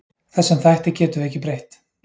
Þessum þætti getum við ekki breytt.